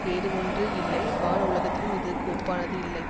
வேறு ஒன்று இல்லை வான் உலகத்திலும் இதற்கு ஒப்பானது இல்லை